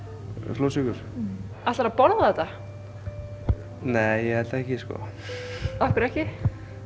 flórsykur ætlarðu að borða þetta nei ég held ekki sko af hverju ekki